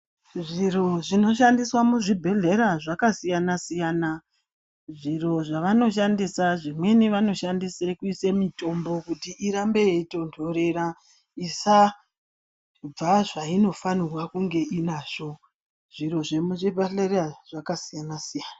Zviro zvinoshandiswa muzvibhehlera zvakasiyana -siyana. Zviro zvavanoshandisa zvimweni vanoshandisa kuise mitombo kuti irambe yeitontorera isabva zvainofanira kunge inazvo. Zviro zvemuzvibhedhlera zvakasiyana -siyana.